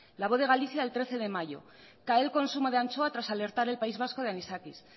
la voz de galicia el trece de mayo cae el consumo de anchoa tras alertar el país vasco de anisakis